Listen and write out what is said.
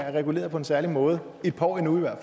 er reguleret på en særlig måde et par år endnu i hvert